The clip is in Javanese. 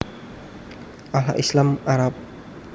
Allah Islam/Arab